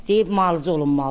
Deyib müalicə olunmalıdır.